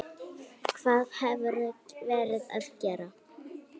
Hvað hefurðu verið að gera?